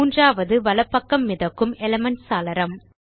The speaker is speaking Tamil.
மூன்றாவது வலது பக்கம் மிதக்கும் எலிமென்ட்ஸ் சாளரம்